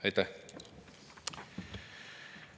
Aitäh!